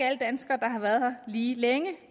alle danskere der har været her lige længe